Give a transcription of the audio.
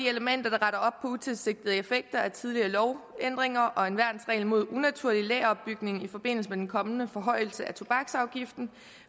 elementer der retter op på utilsigtede effekter af tidligere lovændringer og en værnsregel mod unaturlig lageropbygning i forbindelse med den kommende forhøjelse af tobaksafgiften